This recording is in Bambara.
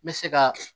N bɛ se ka